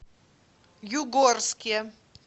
югорске